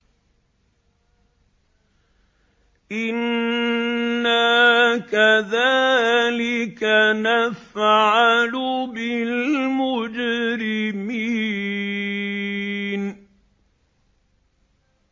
إِنَّا كَذَٰلِكَ نَفْعَلُ بِالْمُجْرِمِينَ